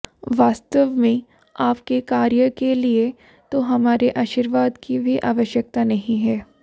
वास्तवमें आपके कार्यके लिए तो हमारे आशीर्वादकी भी आवश्यकता नहीं है